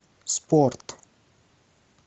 спорт